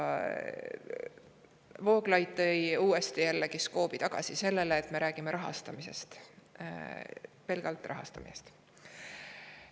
Vooglaid skoobi uuesti sellele, et me räägime rahastamisest, pelgalt rahastamisest.